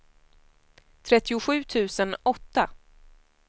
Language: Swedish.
trettiosju tusen åtta